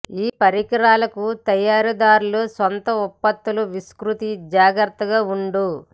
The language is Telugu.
ఈ పరికరాలకు తయారీదారులు సొంత ఉత్పత్తుల విస్తృత జాగ్రత్తగా ఉండు